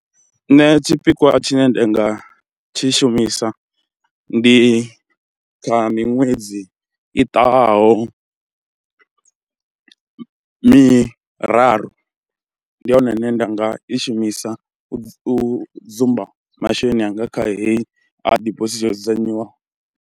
Nṋe tshipikwa tshine nda nga tshi shumisa ndi kha miṅwedzi i ṱahaho miraru, ndi hone hune nda nga i shumisa u u dzumba masheleni anga kha heyi ha dibosithi yo dzudzanyiwa.